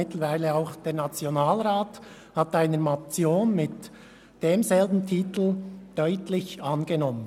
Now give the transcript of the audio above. Mittlerweile hat auch der Nationalrat eine Motion mit demselben Titel deutlich angenommen.